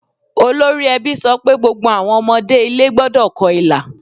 Olórí ẹbí sọ pé gbogbo àwọn ọmọdé ilé gbọ́dọ̀ kọ ilà.